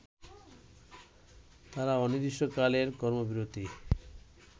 তারা অনির্দিষ্টকালের কর্মবিরতি